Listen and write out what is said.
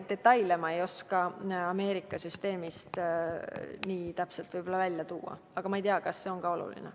Detaile ma ei oska Ameerika süsteemi kohta nii täpselt välja tuua, aga ma ei tea, kas see ongi üldse oluline.